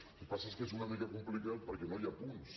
el que passa és que és una mica complicat perquè no hi ha punts